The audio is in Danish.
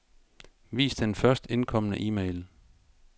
Vis den først indkomne e-mail.